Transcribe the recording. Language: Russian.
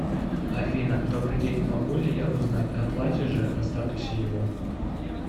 афина добрый день могу ли я узнать оплатишь же о статусе его